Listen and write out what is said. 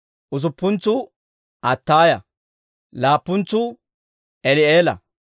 usuppuntsuu Attaaya; laappuntsuu Eli'eela;